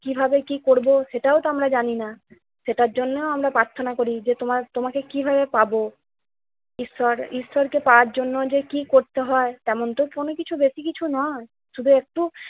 কিভাবে কি করবো, সেটাও তো আমরা জানি না। সেটার জন্য আমরা প্রার্থনা করি যে তোমা~ তোমাকে কিভাবে পাব। ঈশ্বর ঈশ্বরকে পাওয়ার জন্য যে কি করতে হয় তেমন তো কোন কিছু বেশি কিছু নয়, শুধু একটু